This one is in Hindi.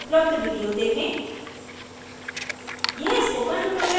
निम्न लिंक पर उपलबध वीडियो देखें